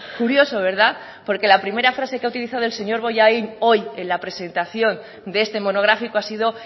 curioso verdad porque la primera frase que ha utilizado el señor bollain hoy en la presentación de este monográfico ha sido